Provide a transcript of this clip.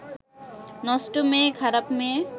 নষ্ট মেয়ে, খারাপ মেয়ে